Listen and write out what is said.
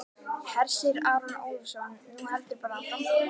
Hersir Aron Ólafsson: Nú heldurðu bara áfram?